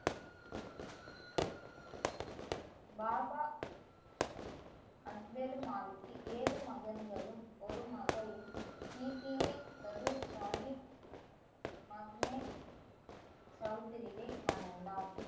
பாபா அக்பேரு மாலிக்கி ஏழு மகன்களும் ஒரு மகளும் சாஹிப் சவுத்திரியை மணந்தார்